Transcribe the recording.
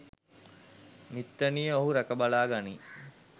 මිත්තණිය ඔහු රැක බලා ගනියි